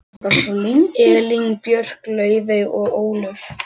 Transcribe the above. Elín Björk, Laufey og Ólöf.